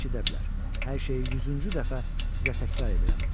Hər şeyi 100-cü dəfə sizə təkrar edirəm.